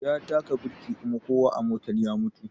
Ya taƙa birki kuma kowa a motan ya mutu